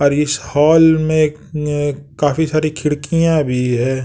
और इस हॉल में काफी सारी खिड़कियाँ भी हैं।